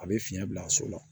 A bɛ fiɲɛ bila so la